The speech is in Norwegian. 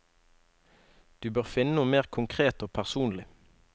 Du bør finne noe mer konkret og personlig.